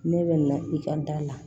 Ne bɛ na i ka da la